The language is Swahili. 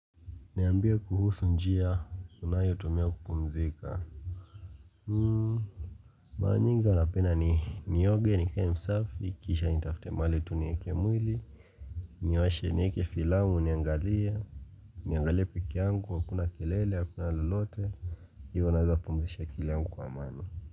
Niambie kuhusu njia unayo tumia kupumzika hmm mara nyingi napenda ni nioge nikae msafi kisha nitafute mahali tu nieke mwili niwashe nieke filamu niangalie niangalie peke yangu hakuna kelele hakuna lolote hivyo naweza kupumzisha akili yangu kwa amani.